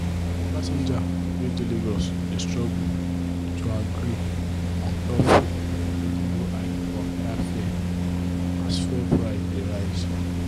passengers wey dey lagos dey struggle to agree untop reasonable hike for okada fare as fuel price dey rise.